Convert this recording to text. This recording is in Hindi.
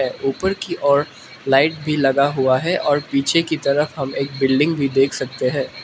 है ऊपर की ओर लाइट भी लगा हुआ है और पीछे की तरफ हम एक बिल्डिंग भी देख सकते हैं।